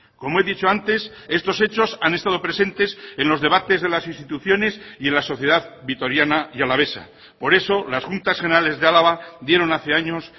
como he dicho antes estos hechos han estado presentes en los debates de las instituciones y en la sociedad vitoriana y alavesa por eso las juntas generales de álava dieron hace años